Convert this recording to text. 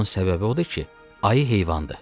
Bunun səbəbi odur ki, ayı heyvandır.